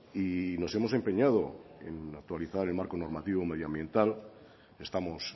y nos hemos empeñado en actualizar el marco normativo medioambiental estamos